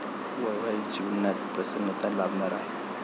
वैवाहिक जीवनात प्रसन्नता लाभणार आहे.